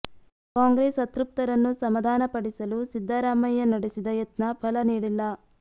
ಕಾಂಗ್ರೆಸ್ ಅತೃಪ್ತರನ್ನು ಸಮಾಧಾನ ಪಡಿಸಲು ಸಿದ್ದರಾಮಯ್ಯ ನಡೆಸಿದ ಯತ್ನ ಫಲ ನೀಡಿಲ್ಲ